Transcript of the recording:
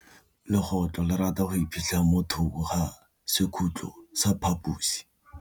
Legôtlô le rata go iphitlha mo thokô ga sekhutlo sa phaposi.